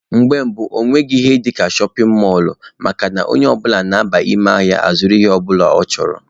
Mgbe gboo, ọ nweghị ihe dịka shọpin mọlụ makana onye ọbụla na-aba ime ahịa a zụrụ ihe ọbụla ọ chọrọ.